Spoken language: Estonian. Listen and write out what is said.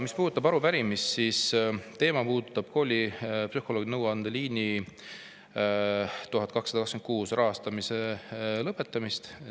Mis puudutab arupärimist, siis teema puudutab koolipsühholoogide nõuandeliini 1226 rahastamise lõpetamist.